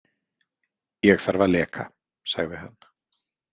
Ég þarf að leka, sagði hann.